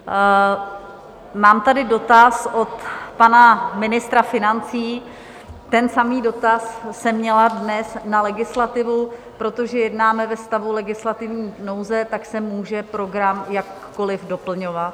Mám tady dotaz od pana ministra financí, ten samý dotaz jsem měla dnes na legislativu: protože jednáme ve stavu legislativní nouze, tak se může program jakkoliv doplňovat.